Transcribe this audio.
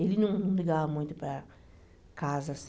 Ele não ligava muito para casa, assim.